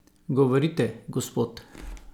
Govorite: "Gospod!